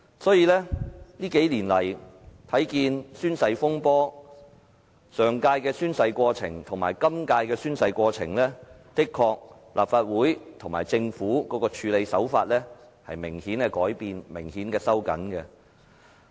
這些年來，我們看見的宣誓風波，上屆的宣誓過程與今屆相比，立法會與政府的處理手法的確明顯收緊了。